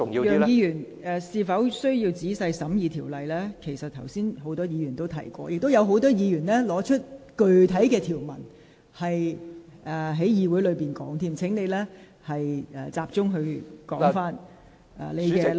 楊議員，就是否需要仔細審議條文這論點，剛才已有多位議員提及，亦有多位議員在會議上提及具體條文，所以請你集中談論你的論點。